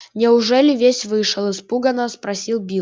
неужели весь вышел испуганно спросил билл